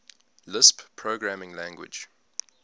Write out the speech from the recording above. lisp programming language